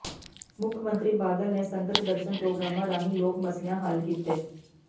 ਮੁੱਖ ਮੰਤਰੀ ਬਾਦਲ ਨੇ ਸੰਗਤ ਦਰਸ਼ਨ ਪ੍ਰੋਗਰਾਮਾਂ ਰਾਹੀਂ ਲੋਕ ਮਸਲਿਆਂ ਹੱਲ ਕੀਤੇ